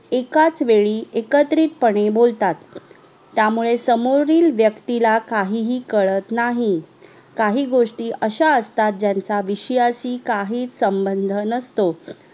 येकच वेडी येकत्रित पणे बोलतात त्यामुळे समोरील व्यक्तीला काहीही कडत नाही काही गोष्टी अश्या असतात ज्यांचा विषयाशी काहीच संबंध नसतो